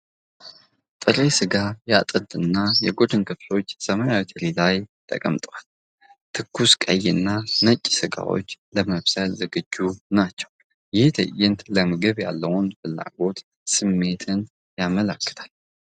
ጥሬ ሥጋ የአጥንትና የጎድን ክፍሎች ሰማያዊ ትሪ ላይ ተቀምጠዋል። ትኩስ ቀይና ነጭ ሥጋዎቹ ለመብሰል ዝግጁ ናቸው፣ ይህ ትዕይንት ለምግብ ያለውን የፍላጎት ስሜትን ያመለክታል።